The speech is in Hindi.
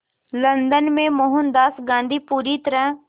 लंदन में मोहनदास गांधी पूरी तरह